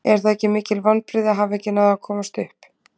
Eru það ekki mikil vonbrigði að hafa ekki náð að komast upp?